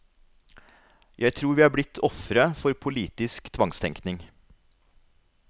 Jeg tror vi er blitt ofre for politisk tvangstenkning.